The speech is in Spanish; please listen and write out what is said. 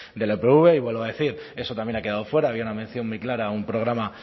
de la upv y vuelvo a decir eso también ha quedado fuera había una mención muy clara a un programa